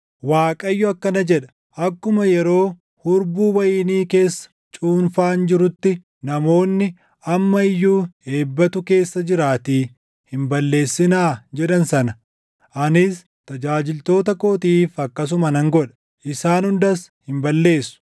Waaqayyo akkana jedha: “Akkuma yeroo hurbuu wayinii keessa cuunfaan jirutti, namoonni, ‘Amma iyyuu eebbatu keessa jiraatii, hin balleessinaa’ jedhan sana, anis tajaajiltoota kootiif akkasuma nan godha; isaan hundas hin balleessu.